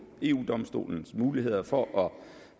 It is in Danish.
eu domstolens muligheder for